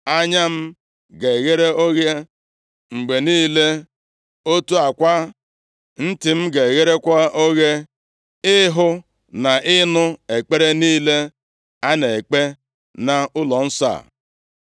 Anya m ga-eghere oghe mgbe niile; otu a kwa, ntị m ga-egherekwa oghe ịhụ na ịnụ ekpere niile a na-ekpe nʼụlọnsọ a.